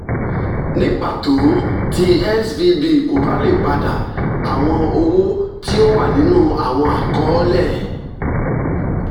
ni pato ti svb ko ba le pada awọn owo ti o wa ninu awọn akọọlẹ